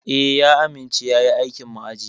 Eh, ya amince yayi aikin ma'aji.